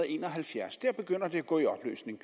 en og halvfjerds der begynder det at gå i opløsning